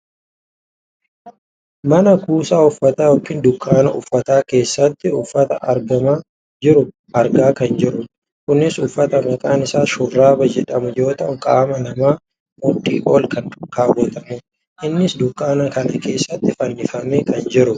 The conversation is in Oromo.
mana kuusaa uffata yookaan dunkaana uffata keessatti uffata argamaa jiru arga kan jirrudha. kunis uffata maqaan isaa shurraaba jedhamu yoo ta'u qaama namaa mudhii olitti kan kaawwatamudha. innis dunkaana kana keessatti fannifamee kan jirudha.